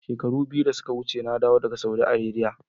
Shekaru biyu da suka wuce na dawo daga Saudi Arabia